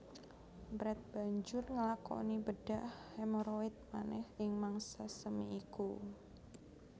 Brett banjur nglakoni bedhah hemoroid manèh ing mangsa semi iku